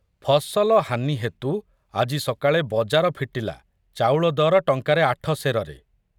ଫସଲ ହାନି ହେତୁ ଆଜି ସକାଳେ ବଜାର ଫିଟିଲା ଚାଉଳ ଦର ଟଙ୍କାରେ ଆଠ ସେରରେ।